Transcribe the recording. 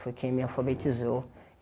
Foi quem me alfabetizou.